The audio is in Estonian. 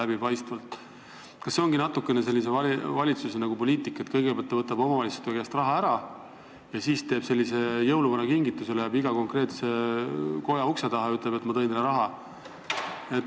Kas see ongi selle valitsuse poliitika, et kõigepealt ta võtab omavalitsuste käest raha ära ja siis teeb jõuluvana kombel kingituse, läheb iga konkreetse koja ukse taha ja ütleb, et ma tõin teile raha?